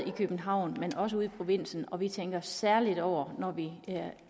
i københavn men også ude i provinsen og vi tænker særlig over når vi